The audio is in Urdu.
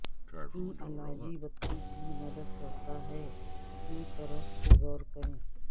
ان علاجی بتی کی مدد کرتا ہے کی طرف سے غور کریں